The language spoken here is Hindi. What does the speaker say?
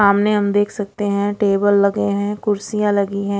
सामने हम देख सकते है टेबल है कुर्सियाँ है।